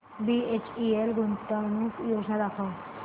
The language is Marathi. बीएचईएल गुंतवणूक योजना दाखव